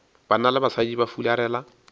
banna le basadi ba fularela